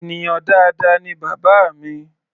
Ènìyàn dáadáa ni bàbá mi.